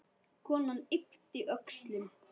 Konan yppti öxlum.